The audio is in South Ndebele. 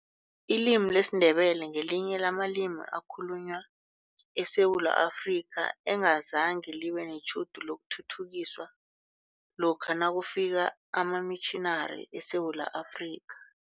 Ilimi lesiNdebele ngelinye lamalimi akhulunywa eSewula Afrika, engazange libe netjhudu lokuthuthukiswa lokha nakufika amamitjhinari eSewula Afrika.